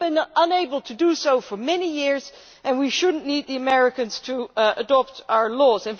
We have been unable to do so for many years, and we should not need the Americans to adopt our laws.